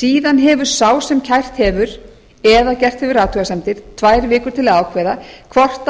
síðan hefur sá sem kært hefur eða gert hefur athugasemdir tvær vikur til að ákveða hvort hann